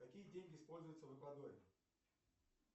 какие деньги используются в эквадоре